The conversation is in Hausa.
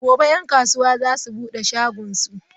Gobe ​​'yan kasuwa za su bude shagonsu?